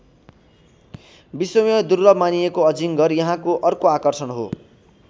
विश्वमै दुर्लभ मानिएको अजिङ्गर यहाँको अर्को आकर्षण हो।